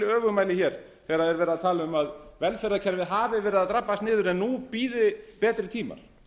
öfugmæli þegar verið er að tala um að velferðarkerfið hafi verið að drabbast niður en nú bíði betri tímar